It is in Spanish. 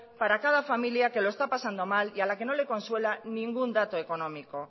para cada familia que lo está pasando mal y a la que no le consuela ningún dato económico